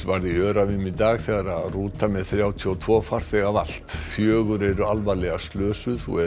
varð í Öræfum í dag þegar rúta með þrjátíu og tvo farþega valt fjögur eru alvarlega slösuð og